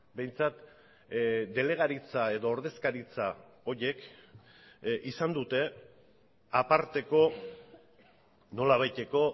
behintzat delegaritza edo ordezkaritza horiek izan dute aparteko nolabaiteko